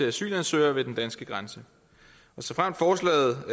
asylansøgere ved den danske grænse og såfremt forslaget